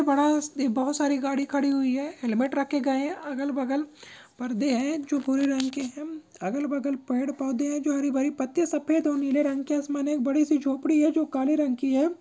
ए एक बड़ा-सा बहुत सारी गाड़ी खड़ी हुई है हेलमेट रखे गए है अगल बगल परदे है जो भूरे रंग के है अगल-बगल पेड़-पौधे है जो हरी-भरी पत्तियां सफेद और नीले रंग के है आसमन है एक बड़ी सी झोंपड़ी है जो काले रंग की है।